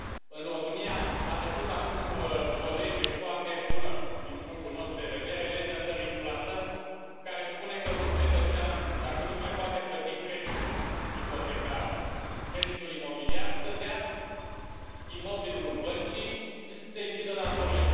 În România a trecut acum o lege foarte bună, din punctul nostru de vedere, Legea dării în plată, care spune că un cetățean, dacă nu și mai poate plăti creditul ipotecar, creditul imobiliar, să dea imobilul băncii și să i se închidă datoria.